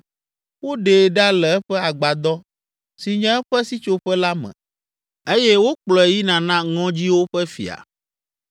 Woɖee ɖa le eƒe agbadɔ si nye eƒe sitsoƒe la me eye wokplɔe yina na ŋɔdziwo ƒe fia.